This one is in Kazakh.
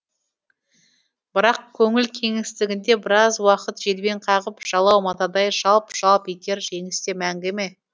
бірақ көңіл кеңістігінде біраз уақыт желбең қағып жалау матадай жалп жалп етер жеңіс те мәңгі ме